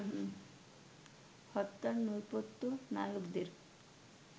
হত্যার নেপথ্য নায়কদের